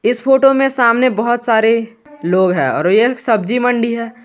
इस फोटो में सामने बहुत सारे लोग हैं और यह सब्जी मंडी है।